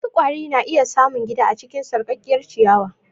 Wasu kwari na iya samun gida a cikin sarƙaƙƙiyar ciyawa.